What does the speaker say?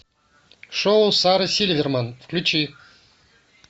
шоу сары сильверман включи